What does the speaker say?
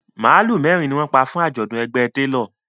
Màálù mẹ́rin ni wọ́n pa fún àjọ̀dún ẹgbẹ́ ẹ télọ̀